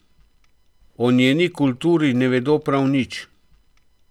O njeni kulturi ne vedo prav nič.